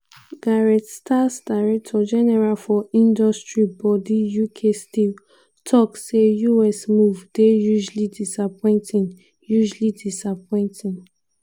gareth stace director general for industry body uk steel tok say us move dey "hugely disappointing". "hugely disappointing".